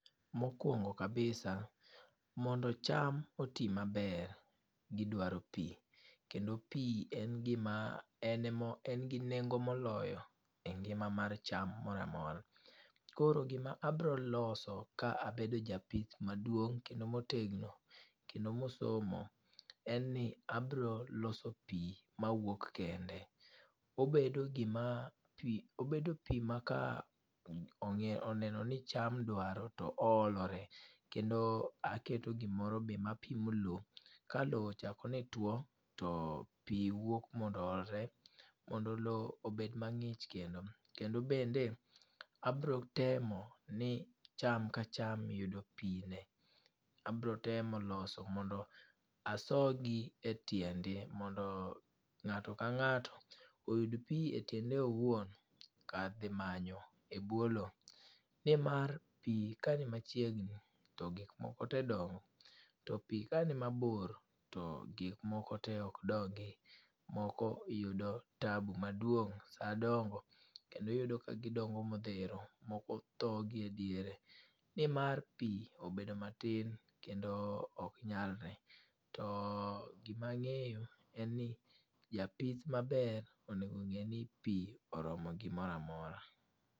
Mokwongo kabisa, mondo cham oti maber, gidwaro pi kendo pi en gima en gi nengo moloyo e ngima mar cham moro amora. Koro gima abroloso ka abedo japith maduong' kendo motegno kendo mosomo en ni abroloso pi mawuok kende. Obedo pi ma ka oneno ni cham dwaro to oolore kendo aketo gimoro be ma pimo lo ka lo ochako ni tuo to pi wuok mondo oolre mondo lo obed mang'ich kendo. Kendo bende abrotemo ni cham ka cham yudo pi ne. Abrotemo loso mondo aso gi e tiende mondo ng'ato ka ng'ato oyud pi e tiende owuon kar dhi manyo e bwo lo nimar pi kani machiegni to giokmoko te dongo to pi kanimabor to gikmoko te ok dongi, moko yudo tabu maduong' sa dongo kendo iyudo ka gidongo modhero moko tho gi e diere nimar pi obedo matin kendo oknyalre to gima ang'eyo en ni japith maber onego ng'e ni pi oromo gimoro amora.